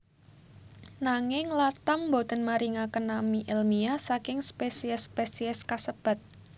Nanging Latham boten maringaken nami èlmiah saking spesies spesies kasebat